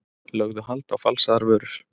Lögðu hald á falsaðar vörur